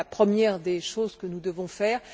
C'est la première des choses que nous devons faire.